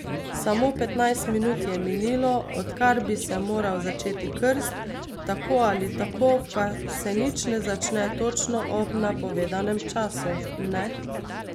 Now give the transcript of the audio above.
Samo petnajst minut je minilo, odkar bi se moral začeti krst, tako ali tako pa se nič ne začne točno ob napovedanem času, ne?